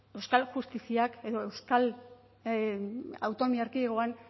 euskal justiziak edo euskal autonomia erkidegoan